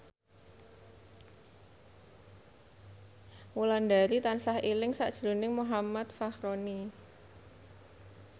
Wulandari tansah eling sakjroning Muhammad Fachroni